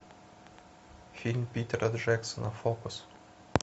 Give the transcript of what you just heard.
фильм питера джексона фокус